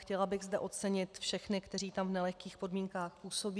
Chtěla bych zde ocenit všechny, kteří tam v nelehkých podmínkách působí.